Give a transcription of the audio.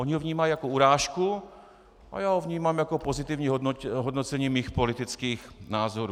Oni ho vnímají jako urážku a já ho vnímám jako pozitivní hodnocení mých politických názorů.